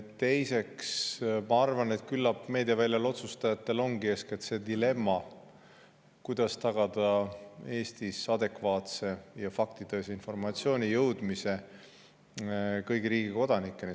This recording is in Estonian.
Teiseks, ma arvan, et küllap meediaväljal otsustajatel ongi eeskätt see dilemma, kuidas tagada Eestis adekvaatse ja faktitõese informatsiooni jõudmine riigi kõigi kodanikeni.